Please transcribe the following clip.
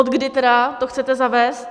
Odkdy tedy to chcete zavést?